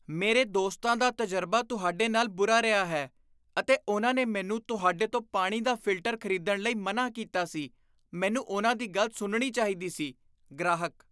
ਮੇਰੇ ਦੋਸਤਾਂ ਦਾ ਤਜਰਬਾ ਤੁਹਾਡੇ ਨਾਲ ਬੁਰਾ ਰਿਹਾ ਹੈ ਅਤੇ ਉਨ੍ਹਾਂ ਨੇ ਮੈਨੂੰ ਤੁਹਾਡੇ ਤੋਂ ਪਾਣੀ ਦਾ ਫਿਲਟਰ ਖ਼ਰੀਦਣ ਲਈ ਮਨ੍ਹਾਂ ਕੀਤਾ ਸੀ ਮੈਨੂੰ ਉਨ੍ਹਾਂ ਦੀ ਗੱਲ ਸੁਣਨੀ ਚਾਹੀਦੀ ਸੀ ਗ੍ਰਾਹਕ